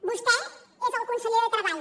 vostè és el conseller de treball